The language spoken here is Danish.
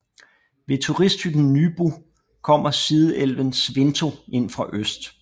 Ved turisthytten Nybu kommer sideelven Svinto ind fra øst